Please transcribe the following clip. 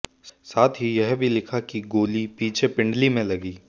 साथ ही यह भी लिखा कि गोली पीछे पिंडली में लगी